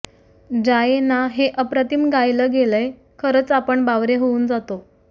जाये ना हे अप्रतिम गायलं गेलंय खरंच आपण बावरे होऊन जातो